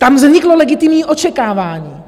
Tam vzniklo legitimní očekávání.